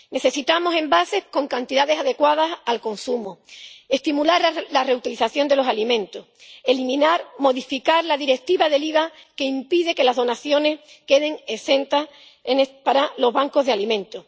Necesitamos envases con cantidades adecuadas al consumo, estimular la reutilización de los alimentos y modificar la Directiva del IVA, que impide que las donaciones queden exentas para los bancos de alimentos.